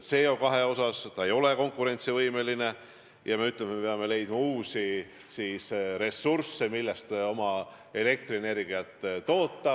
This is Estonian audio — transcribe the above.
CO2 seisukohalt ei ole põlevkivi konkurentsivõimeline ja me peame leidma uusi ressursse, millest elektrienergiat toota.